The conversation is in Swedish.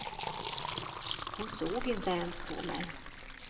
Hon såg inte ens på mig.